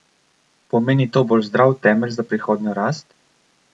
Pomeni to bolj zdrav temelj za prihodnjo rast?